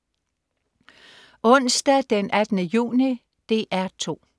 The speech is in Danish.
Onsdag den 18. juni - DR 2: